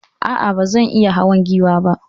Aa, bazan iya hawa Giwa ba